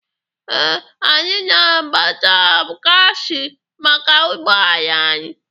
Ee, anyị na-agbata gaasị maka ụgbọala anyị.